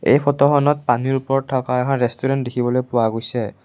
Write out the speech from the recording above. এই ফটোখনত পানীৰ ওপৰত থকা এখন ৰেষ্টোৰেন্ত দেখিবলৈ পোৱা গৈছে।